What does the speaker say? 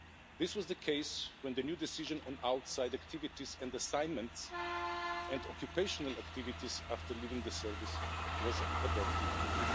This was the case when the new decision on outside activities and assignments and occupational activities after leaving the service was adopted in